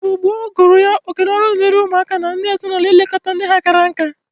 Igbo gboo gụrụ ya oke na ọrụ diri ụmụ na ndi ezi-na-ulo ilekọta ndi ha kara nka.